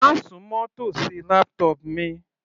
Má súnmọ́ tòsí laptop mi.